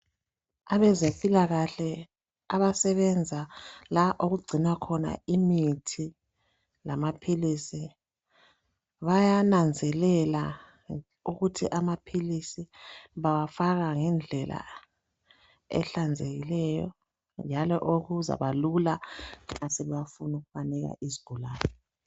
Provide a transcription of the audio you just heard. abezempilakahle abasebenza la okucinwa khona imithi lamaphilisi bayananzelela ukuthi amaphilisi bawafaka ngendlela ehlanzekileyo njalo okuzaba lula nxa sebewafuna amaphilisi wonalawa